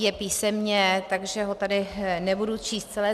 Je písemně, takže ho tady nebudu číst celé.